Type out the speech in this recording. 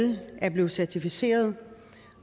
er blevet certificeret